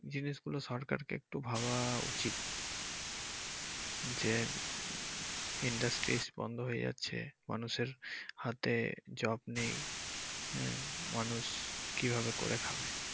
জিনিসগুলো সরকারকে একটু ভাবা উচিত যে industries বন্ধ হয়ে যাচ্ছে মানুষের হাতে জব নেই আহ মানুষ কিভাবে করে খাবে।